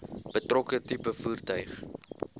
betrokke tipe voertuig